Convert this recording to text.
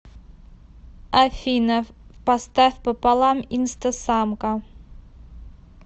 афина поставь пополам инстасамка